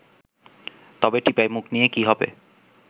তবে টিপাইমুখ নিয়ে কী হবে